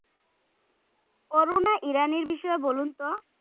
অরুনা ইরানির বিষয়ে বলুন তো?